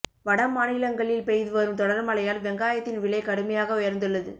வடமாநிலங்களில் பெய்து வரும் தொடர் மழையால் வெங்காயத்தின் விலை கடுமையாக உயர்ந்துள்ளது